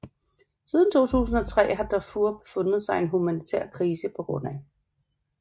Siden 2003 har Darfur befundet sig i en humanitær krise pga